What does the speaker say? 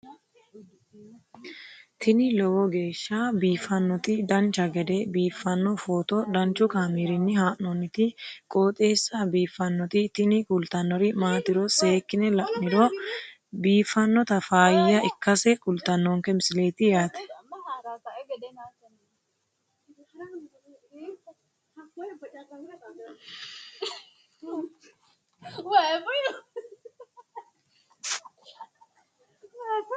tini lowo geeshsha biiffannoti dancha gede biiffanno footo danchu kaameerinni haa'noonniti qooxeessa biiffannoti tini kultannori maatiro seekkine la'niro biiffannota faayya ikkase kultannoke misileeti yaate